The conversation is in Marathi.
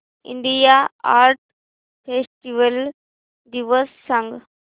इंडिया आर्ट फेस्टिवल दिवस सांग